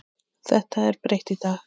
Þetta er breytt í dag.